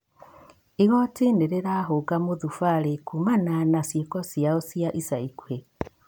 Igoti nĩrĩrahũnga mũthubarĩ kumana na ciĩko ciao cia ica ikuhĩ